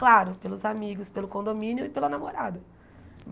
Claro, pelos amigos, pelo condomínio e pela namorada.